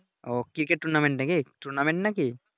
ওহ cricket Tournament নাকি Tournament নাকি